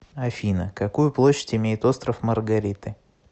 афина какую площадь имеет остров маргариты